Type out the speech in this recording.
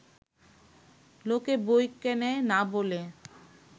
লোকে বই কেনে না বলে